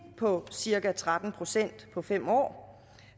på cirka tretten procent på fem år